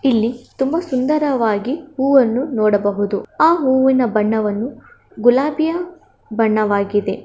ಇಲ್ಲಿ ತುಂಬಾ ಸುಂದರವಾಗಿ ಹೂವನ್ನು ನೋಡಬಹುದು ಆ ಹೂವಿನ ಬಣ್ಣವನ್ನು ಗುಲಾಬಿಯ ಬಣ್ಣವಾಗಿದೆ.